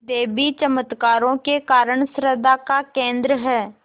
देवी चमत्कारों के कारण श्रद्धा का केन्द्र है